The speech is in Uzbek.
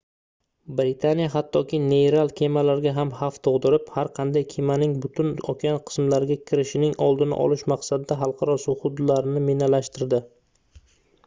britaniya hattoki neyral kemalarga ham xavf tugʻdirib har qanday kemaning butun okean qismlariga kirishining oldini olish maqsadida xalqaro suv hududlarini minalashtirdi